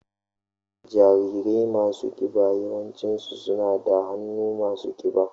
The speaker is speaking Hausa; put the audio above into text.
Jarirai masu kiba yawanci suna da hannaye masu kiba.